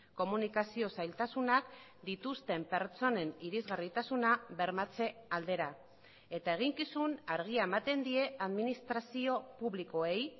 komunikazio zailtasunak dituzten pertsonen irisgarritasuna bermatze aldera eta eginkizun argia ematen die administrazio publikoei